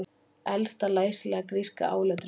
Elsta læsilega gríska áletrunin